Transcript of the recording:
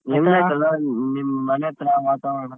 ಐತೆ ಅಣ್ಣ ನಿಮ್ಮ್ ಮನೆ ಅತ್ರ ವಾತಾವರಣ?